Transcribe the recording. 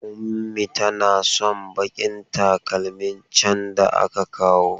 Ummi tana son bakin takalmin can da aka kawo.